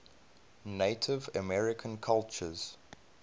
native american cultures